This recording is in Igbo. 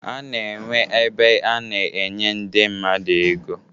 A na-enwe ebe a na-enye ndị mmadụ ego